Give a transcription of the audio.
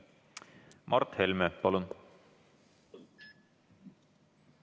Mart Helme, palun!